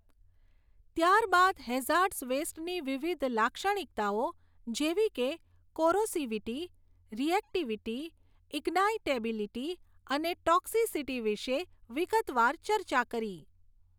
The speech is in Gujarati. ત્યાર બાદ હેઝાર્ડસ વેસ્ટની વિવિધ લાક્ષણિકતાઓ જેવી કે કોરોસીવીટી, રિએક્ટિવિટી, ઈગ્નાઈટેબીલીટી અને ટોક્સિસિટી વિશે વિગતવાર ચર્ચા કરી.